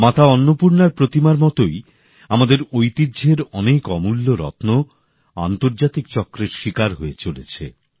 মাতা অন্নপূর্ণার প্রতিমার মতই আমাদের ঐতিহ্যের অনেক অমূল্য রত্ন আন্তর্জাতিক চক্রের শিকার হয়ে চলেছে